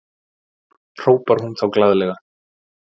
hrópar hún þá glaðlega.